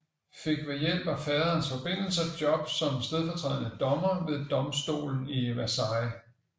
Fik ved hjælp af faderens forbindelser job som stedfortrædende dommer ved domstolen i Versailles